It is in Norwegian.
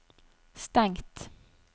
stengt